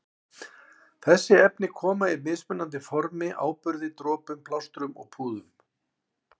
Þessi efni koma í mismunandi formi- áburði, dropum, plástrum og púðum.